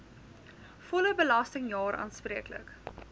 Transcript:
volle belastingjaar aanspreeklik